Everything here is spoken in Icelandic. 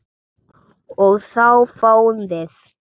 og þá fáum við